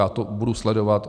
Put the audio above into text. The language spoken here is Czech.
Já to budu sledovat.